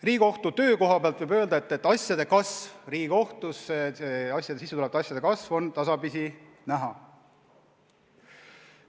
Riigikohtu töö kohta võib öelda, et Riigikohtusse sissetulevate asjade arv tasapisi kasvab.